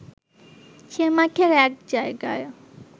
সে মাঠের এক জায়গায়